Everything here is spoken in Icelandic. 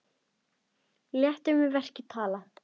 Létum við verkin tala.